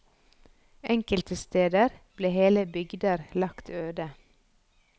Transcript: Enkelte steder ble hele bygder lagt øde.